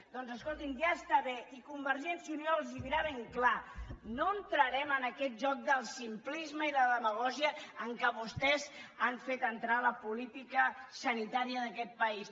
doncs escoltin ja està bé i convergència i unió els ho dirà ben clar no entrarem en aquest joc del simplisme i de la demagògia en què vostès han fet entrar la política sanitària d’aquest país